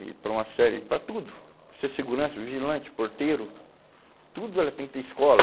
E para uma série, para tudo, para ser segurança, vigilante, porteiro, tudo ela tem que ter escola.